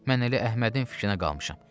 Mən elə Əhmədin fikrinə qalmışam.